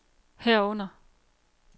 herunder